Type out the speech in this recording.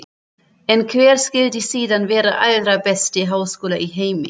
En hver skyldi síðan vera allra besti háskóli í heimi?